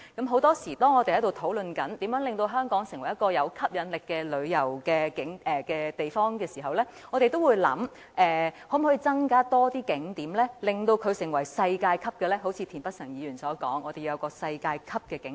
很多時候，當我們討論如何能令香港成為一個具吸引力的旅遊目的地時，我們都會考慮可否增加更多景點，並使其成為世界級；一如田北辰議員所說，我們要打造世界級景點。